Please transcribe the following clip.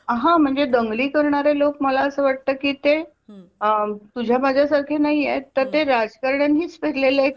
हा म्हणजे दंगली करणारे लोक मला असं वाटते की ते हम्म तुझ्या माझ्या सारखे नाहीत तर ते राजकारण्यांनीच पेरले एक पीक आहे